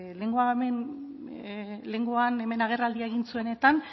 lehengoan hemen agerraldia